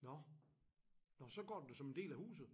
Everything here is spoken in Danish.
Nåh nåh så går det som en del af huset